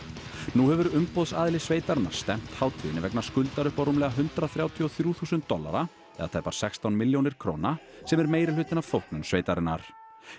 nú hefur umboðsaðili sveitarinnar stefnt hátíðinni vegna skuldar upp á rúmlega hundrað þrjátíu og þrjú þúsund dollara eða tæpar sextán milljónir króna sem er meirihlutinn af þóknun sveitarinnar